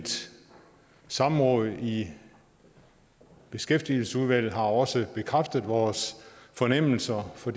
samråd i beskæftigelsesudvalget har også bekræftet vores fornemmelser for